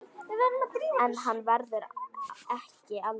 En hann verður ekki eldri.